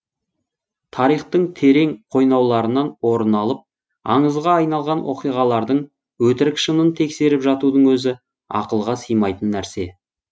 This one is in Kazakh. тарихтың терең қойнауларынан орын алып аңызға айналған оқиғалардың өтірік шынын тексеріп жатудың өзі ақылға сыймайтын нәрсе